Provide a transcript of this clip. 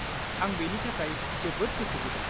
-आं बेनि थाखाय जोबोद गोसो गुदुं।